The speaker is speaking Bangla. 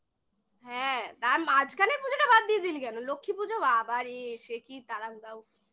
হ্যাঁ তার মাঝখানের পুজোটা বাদ দিয়ে দিলি কেন? লক্ষীপুজো বাবারে সে কি তাড়াহুড়ো উফ্